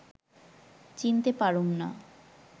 চিনতে পারুম না